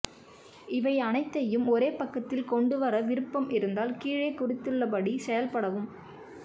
இவை அனைத்தையும் ஒரே பக்கத்தில் கொண்டு வர விருப்பம் இருந்தால் கீழே குறித்துள்ளபடி செயல்படவும்